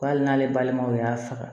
Bali n'ale balimaw y'a faga